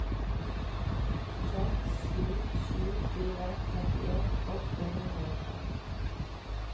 seks sju sju fire trettien åtte hundre og tre